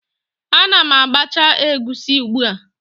Ana m agbacha egusi ugbu a